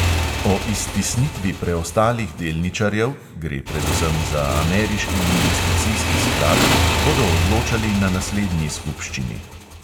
O iztisnitvi preostalih delničarjev, gre predvsem za ameriški investicijski sklad, bodo odločali na naslednji skupščini.